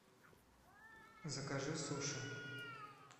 закажи суши